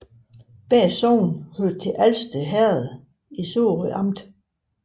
Begge sogne hørte til Alsted Herred i Sorø Amt